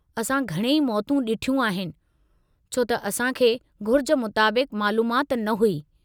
असां घणई मौतूं ॾिठियूं आहिनि छो त असां खे घुर्ज मुताबिक मालूमाति न हुई।